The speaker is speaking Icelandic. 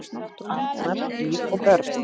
Arnar, Ýr og börn.